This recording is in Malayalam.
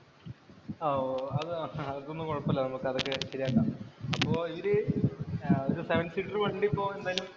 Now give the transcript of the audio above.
ഓ, അത് അതൊന്നും കുഴപ്പമില്ല നമുക്ക് അതൊക്കെ ശരിയാക്കാം. അപ്പൊ ഇവര് ഒരു ഒരു വണ്ടിയിപ്പോ എന്തായാലും